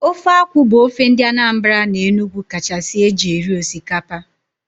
Ofe akwụ bụ ofe ndị Anambra na Enugu kachasị eji eri osikaoa